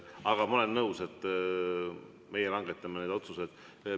Aga ma olen nõus, et meie langetame neid otsuseid.